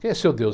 Quem é seu Deus?